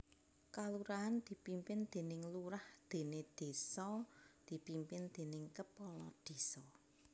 Kalurahan dipimpin déning lurah déné désa dipimpin déning kepala désa